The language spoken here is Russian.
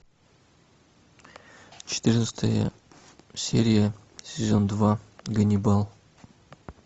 четырнадцатая серия сезон два ганнибал